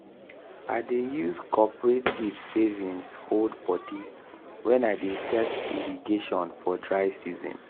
i dey use coperative savings hold bodi wen i dey test irrigation for dry season.